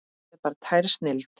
Það er bara tær snilld.